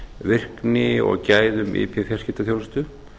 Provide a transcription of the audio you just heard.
virkni og gæðum ip fjarskiptaþjónustu